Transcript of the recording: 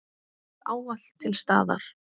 Þú varst ávallt til staðar.